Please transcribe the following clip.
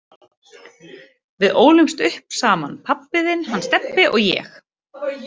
Við ólumst upp saman pabbi þinn, hann Stebbi og ég.